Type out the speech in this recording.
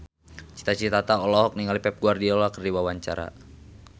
Cita Citata olohok ningali Pep Guardiola keur diwawancara